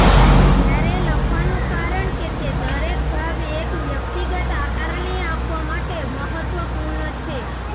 જ્યારે લખવાનું કારણ કે તે દરેક ભાગ એક વ્યક્તિગત આકારણી આપવા માટે મહત્વપૂર્ણ છે